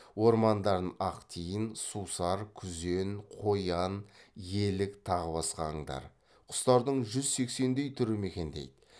ормандарын ақ тиін сусар күзен қоян елік тағы басқа аңдар құстардың жүз сексендей түрі мекендейді